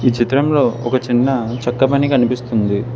ఈ చిత్రంలో ఒక చిన్న చెక్క పని కనిపిస్తుంది.